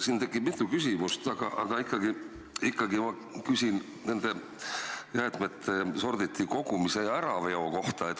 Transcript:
Siin tekib mitu küsimust, aga ma küsin jäätmete sorditi kogumise ja äraveo kohta.